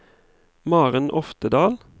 Maren Oftedal